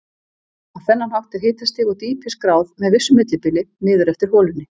Á þennan hátt er hitastig og dýpi skráð með vissu millibili niður eftir holunni.